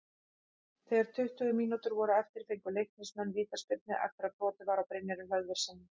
Þegar tuttugu mínútur voru eftir fengu Leiknismenn vítaspyrnu eftir að brotið var á Brynjari Hlöðverssyni.